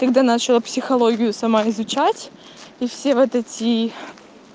когда начала психологию сама изучать и все вот эти